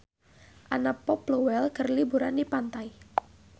Anna Popplewell keur liburan di pantai